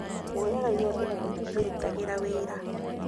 Mũoyaga igoti na mũtitũrutagĩra wĩra